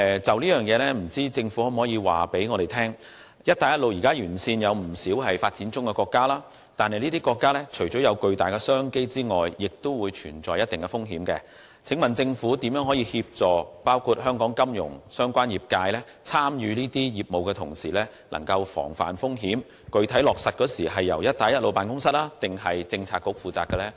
就此，政府可否告訴我，現時"一帶一路"沿線有不少發展中國家，而這些國家除了擁有巨大商機外，亦存在一定風險。請問政府會如何協助香港金融相關業界，在參與這些業務的同時防範風險，以及這些措施的具體落實工作是會交由辦公室抑或政策局負責呢？